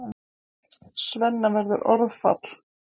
Svenna verður orðfall.